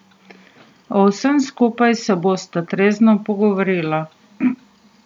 O vsem skupaj se bosta trezno pogovorila.